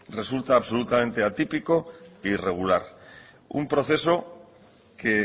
resulta absolutamente atípico e irregular un proceso que